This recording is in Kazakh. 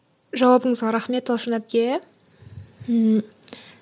жауабыңызға рахмет талшын әпке ммм